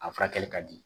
A furakɛli ka di